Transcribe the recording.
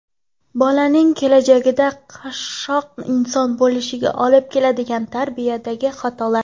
Bolaning kelajakda qashshoq inson bo‘lishiga olib keladigan tarbiyadagi xatolar.